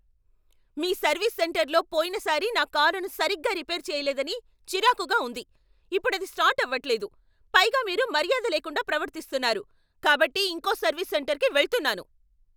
మీ service సెంటర్లో పోయినసారి నా కారును సరిగ్గా రిపేర్ చేయలేదని చిరాకుగా ఉంది. ఇప్పుడది స్టార్ట్ ఆవట్లేదు, పైగా మీరు మర్యాద లేకుండా ప్రవర్తిస్తున్నారు కాబట్టి ఇంకో సర్వీస్ సెంటర్కి వెళ్తున్నాను.